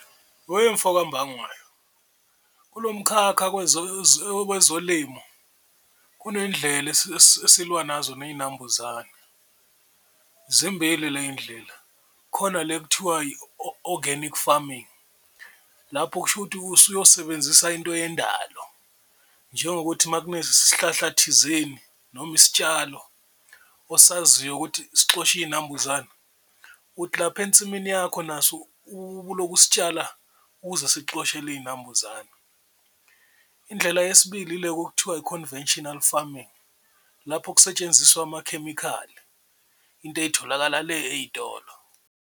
Wemfoka Mbangwayo kulo mkhakha okwezolimo kunendlela esilwa nazo ney'nambuzane, zimbili ley'ndlela. Khona le kuthiwa i-organic farming lapho kusho ukuthi usuyosebenzisa into yendalo njengokuthi uma kunesihlahla thizeni noma isitshalo osaziyo ukuthi sixosha iy'nambuzane ukuthi lapha ensimini yakho naso uloku usitshala, ukuze sikuxoshele iy'nambuzane. Indlela yesibili ile kokuthiwa i-conventional farming lapho okusetshenziswa amakhemikhali into ey'tholakala le ey'tolo.